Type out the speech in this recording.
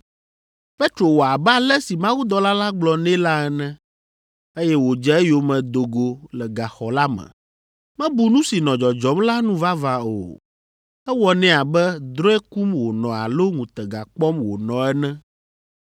Petro wɔ abe ale si mawudɔla la gblɔ nɛ la ene, eye wòdze eyome do go le gaxɔ la me. Mebu nu si nɔ dzɔdzɔm la nu vavã o. Ewɔ nɛ abe drɔ̃e kum wònɔ alo ŋutega kpɔm wònɔ ene.